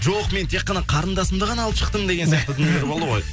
жоқ мен тек қана қарындасымды ғана алып шықтым деген сияқты дүниелер болды ғой